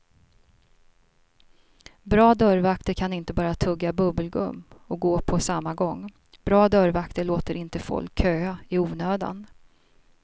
Bra dörrvakter kan inte bara tugga bubbelgum och gå på samma gång, bra dörrvakter låter inte folk köa i onödan.